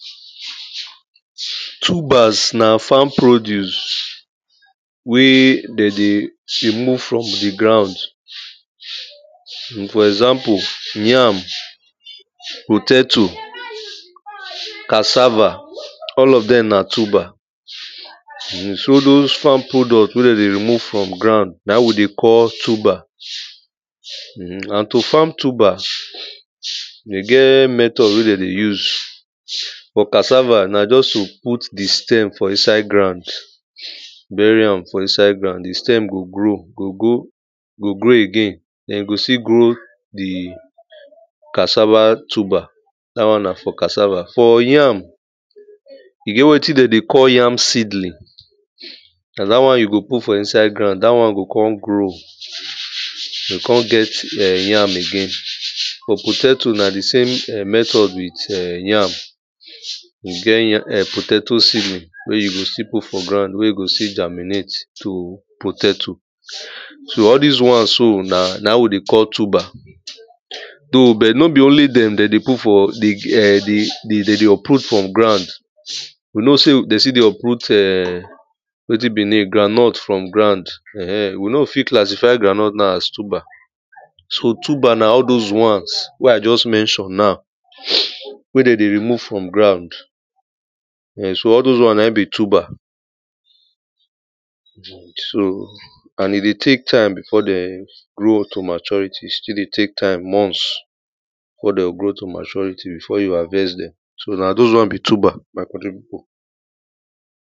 Tubers na farm produce wey dem dey remove from di ground. for example, yam, potato, [2] cassava [2] all of dem na tuber. So all those farm product wey dem dey remove from ground na im we dey call tuber. [urn] and to farm tuber, e get method wey dem dey use. For cassava, na just to put di stem for inside ground. Bury am for inside ground, di stem go grow go go, go grow again, den e go still grow di cassava tuber, dat one na for cassava. For yam, e get wetin dem dey call yam seedling. Na dat one you go put for inside ground, dat one go come grow, e go come get yam again. For potato na di same method with [urn] yam. E get ya [urn] potato seedling. Wey you go still put for ground, wey e go still germinate to potato. So all dis one so, na na im we dey call tuber. Though but no be only dem dem dey put for di [urn] di, dem dey uproot from ground. We know sey dem still dey uproot [urn] wetin be e name, groundnut from ground, we no go fit classify groundnut na as tuber. So tuber na all doz doz once wey I just mention now. Wen dem dey remove from ground, so all doz one na im be tuber. So and e dey take time before dem grow to maturity, e still dey take time months before dem go grow to maturity, before you go harvest dem, so na doz one be tuber, my country people.